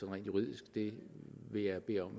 rent juridisk vil vil jeg bede om